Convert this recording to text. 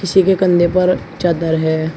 पीछे के कंधे पर चादर है।